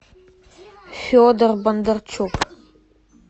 федор бондарчук